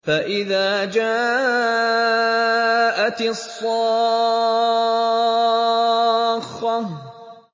فَإِذَا جَاءَتِ الصَّاخَّةُ